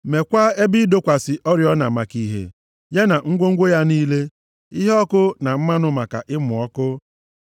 Mekwaa ebe ịdọkwasị oriọna maka ìhè, ya na ngwongwo ya niile, iheọkụ na mmanụ maka ịmụ ọkụ;